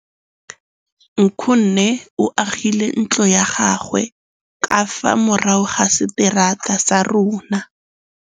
Nkgonne o agile ntlo ya gagwe ka fa morago ga seterata sa rona.